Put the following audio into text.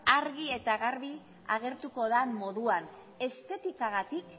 argi eta garbi agertuko dan moduan estetikagatik